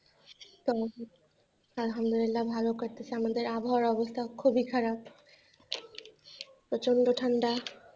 উহ আল্হামদুল্লিলা ভালো কাটতেছে আমাদের, আবহাওয়ার অবস্থা খুবই খারাপ প্রচন্ড ঠান্ডা,